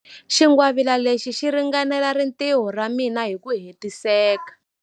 Xingwavila lexi xi ringanela rintiho ra mina hi ku hetiseka.